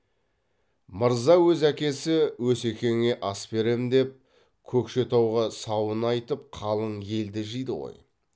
мырза өз әкесі өсекеңе ас берем деп көкшетауға сауын айтып қалың елді жиды ғой